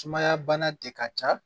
Sumaya bana de ka ca